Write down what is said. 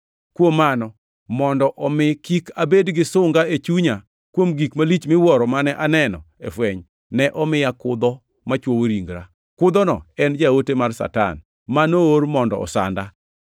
Kuom mano, mondo omi kik abed gi sunga e chunya kuom gik malich miwuoro mane aneno e fweny, ne omiya kudho machwoyo ringra. Kudhono ne en jaote mar Satan, ma noor mondo osanda.